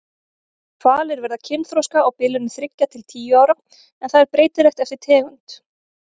Hvalir verða kynþroska á bilinu þriggja til tíu ára en það er breytilegt eftir tegund.